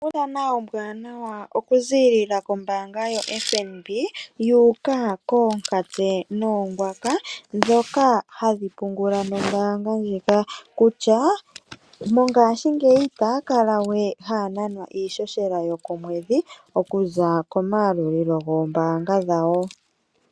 Onkundana ombwaanawa oku ziilila kombaanga yo FNB ya uka koonkatse noongwaka, dhoka hadhi pungula nombaanga ndjika. Kutya, mongaashingeyi itaya kala we haya nanwa iihohela yo komwedhi, okuza ko mayalulilo gombaanga dhawo.